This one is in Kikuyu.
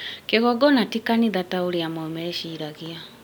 Kĩgongona ti kanitha ta ũrĩa amwe meciragia